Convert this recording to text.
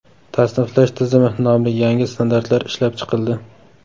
Tasniflash tizimi” nomli yangi standartlar ishlab chiqildi.